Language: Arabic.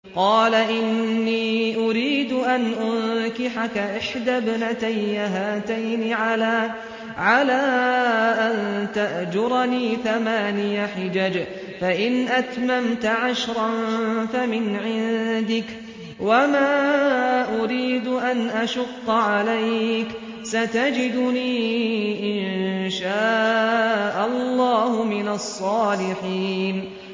قَالَ إِنِّي أُرِيدُ أَنْ أُنكِحَكَ إِحْدَى ابْنَتَيَّ هَاتَيْنِ عَلَىٰ أَن تَأْجُرَنِي ثَمَانِيَ حِجَجٍ ۖ فَإِنْ أَتْمَمْتَ عَشْرًا فَمِنْ عِندِكَ ۖ وَمَا أُرِيدُ أَنْ أَشُقَّ عَلَيْكَ ۚ سَتَجِدُنِي إِن شَاءَ اللَّهُ مِنَ الصَّالِحِينَ